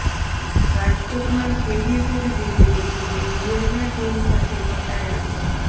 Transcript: રાજકોટમાં Swiggy food delivery boy બિયરના tin સાથે પકડાયા છે